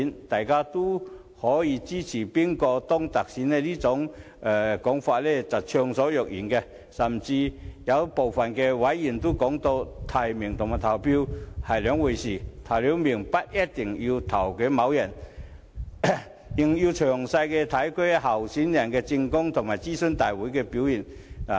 大家都可以就支持誰人當特首暢所欲言，有部分委員甚至說提名和投票是兩回事，提名後不一定要投票給該人，因為還要詳細研究候選人的政綱及在諮詢大會上的表現。